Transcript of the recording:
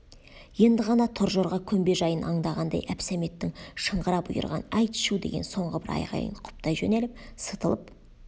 енді ғана торжорға көмбе жайын аңдағандай әбсәметтің шыңғыра бұйырған айт шу деген соңғы бір айғайын құптай жөнеліп сытылып